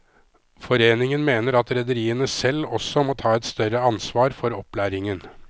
Foreningen mener at rederiene selv også må ta et større ansvar for opplæringen.